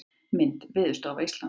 Mynd: Veðurstofa Íslands.